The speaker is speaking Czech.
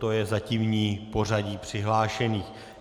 To je zatímní pořadí přihlášených.